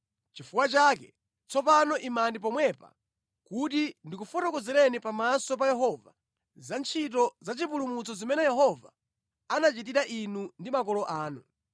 Nʼchifukwa chake tsopano imani pomwepa kuti ndikufotokozereni pamaso pa Yehova, za ntchito za chipulumutso zimene Yehova anachitira inu ndi makolo anu.